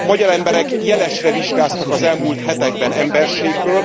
A magyar emberek jelesre vizsgáztak az elmúlt hetekben emberségből.